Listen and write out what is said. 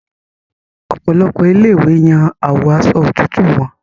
Òpòlopò ilé ìwé Yàn awọ Aṣọ òtútù wón.